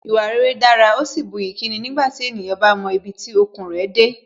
Ìwà rere dára, ó sì buyì kúni nígbàtí ènìyàn bá mọ ibi tí okun rẹ̀ dé